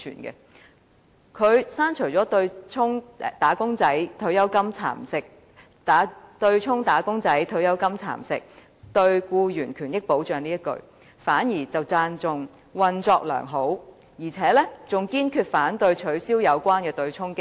他刪除了對沖"嚴重蠶食'打工仔女'的'血汗錢'，並直接影響他們的退休保障"的字眼，卻讚賞對沖機制"運作良好"，而且"堅決反對取消有關對沖機制"。